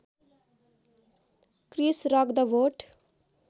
Chris Rock the vote